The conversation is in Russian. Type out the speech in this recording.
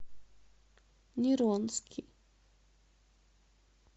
неронски